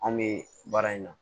Anw bɛ baara in na